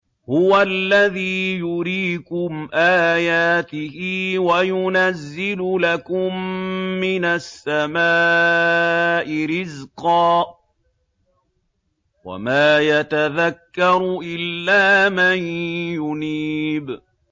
هُوَ الَّذِي يُرِيكُمْ آيَاتِهِ وَيُنَزِّلُ لَكُم مِّنَ السَّمَاءِ رِزْقًا ۚ وَمَا يَتَذَكَّرُ إِلَّا مَن يُنِيبُ